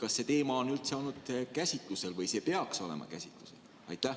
Kas see teema on üldse olnud käsitlusel või kas see peaks olema käsitlusel?